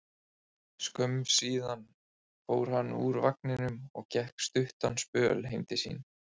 Skömmu síðar fór hann úr vagninum og gekk stuttan spöl heim til sín.